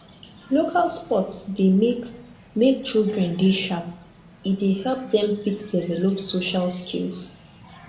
local sport dey make make children dey sharp e dey help dem fit develop social skills